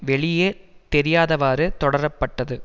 வெளியே தெரியாதவாறு தொடரப்பட்டது